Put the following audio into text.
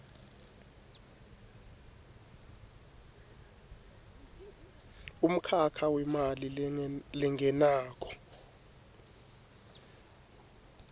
umkhakha wemali lengenako